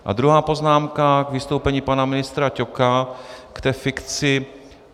A druhá poznámka k vystoupení pana ministra Ťoka k té fikci.